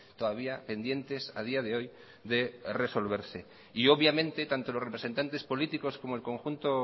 todavía pendientes a día de hoy de resolverse y obviamente tanto los representantes políticos como el conjunto